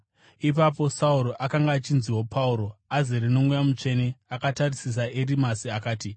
Ipapo Sauro akanga achinziwo Pauro, azere noMweya Mutsvene akatarisisa Erimasi akati,